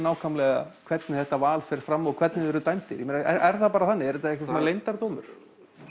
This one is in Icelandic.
hvernig þetta val fer fram og hvernig þið eruð dæmdir er það bara þannig er þetta svona leyndardómur